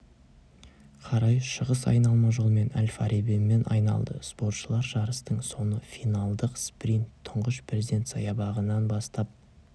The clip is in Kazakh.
қарай шығыс айналма жолмен әл-фарабимен айналды спортшылар жарыстың соңы финалдық спринт тұңғыш президент саябағынан бастап